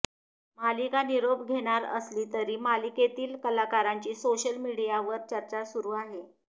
मालिका निरोप घेणार असली तरी मालिकेतील कलाकारांची सोशल मीडियावर चर्चा सुरू आहे